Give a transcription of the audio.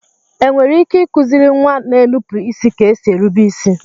È nwere ike ịkụziri nwa na-énupụ isi ka esi érubé isi?